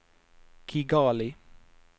Kigali